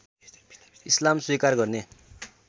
इस्लाम स्वीकार गर्ने